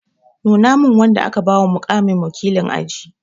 Nuna min wanda aka ba wa muƙamin wakilin aji!